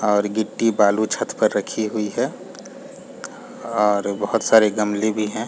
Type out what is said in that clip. और गिट्टी बालू छत पर रखी हुई है और बोहत सारे गमले भी है।